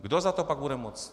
Kdo za to pak bude moct?